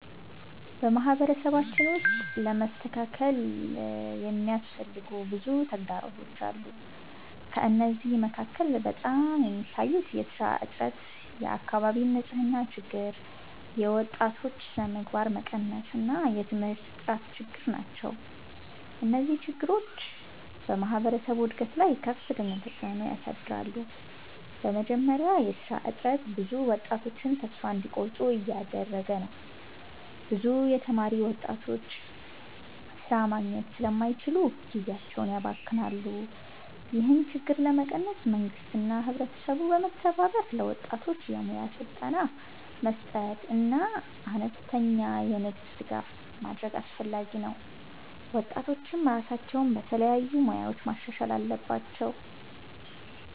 በማህበረሰባችን ውስጥ ለመስተካከል የሚያስፈልጉ ብዙ ተግዳሮቶች አሉ። ከእነዚህ መካከል በጣም የሚታዩት የሥራ እጥረት፣ የአካባቢ ንፅህና ችግር፣ የወጣቶች ስነምግባር መቀነስ እና የትምህርት ጥራት ችግር ናቸው። እነዚህ ችግሮች በማህበረሰቡ እድገት ላይ ከፍተኛ ተፅዕኖ ያሳድራሉ። በመጀመሪያ የሥራ እጥረት ብዙ ወጣቶችን ተስፋ እንዲቆርጡ እያደረገ ነው። ብዙ የተማሩ ወጣቶች ሥራ ማግኘት ስለማይችሉ ጊዜያቸውን ያባክናሉ። ይህን ችግር ለመቀነስ መንግስትና ህብረተሰቡ በመተባበር ለወጣቶች የሙያ ስልጠና መስጠትና አነስተኛ የንግድ ድጋፍ ማድረግ አስፈላጊ ነው። ወጣቶችም ራሳቸውን በተለያዩ ሙያዎች ማሻሻል አለባቸው።